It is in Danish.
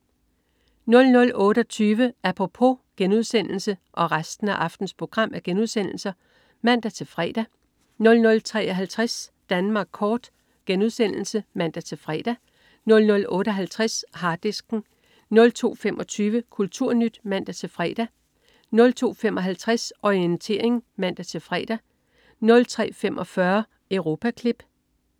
00.28 Apropos* (man-fre) 00.53 Danmark kort* (man-fre) 00.58 Harddisken* 02.25 KulturNyt* (man-fre) 02.55 Orientering* (man-fre) 03.45 Europaklip*